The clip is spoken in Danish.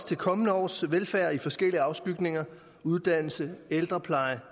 til kommende års velfærd i forskellige afskygninger uddannelse ældrepleje